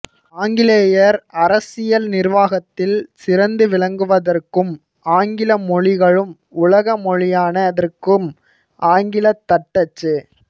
ஆங்கிலேயர் அரசியல் நிர்வாகத்தில் சிறந்து விளங்குவதற்கும் ஆங்கில மொழிகளும் உலகமொழியானதற்கும் ஆங்கிலத் தட்டச்சு